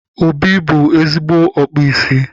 Obi bụ ezigbo ọkpụ isi